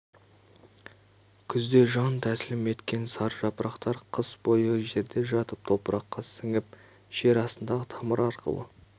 күзде жан тәсілім еткен сары жапырақтар қыс бойы жерде жатып топыраққа сіңіп жер астындағы тамыр арқылы